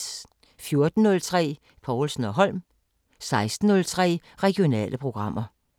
14:03: Povlsen & Holm 16:03: Regionale programmer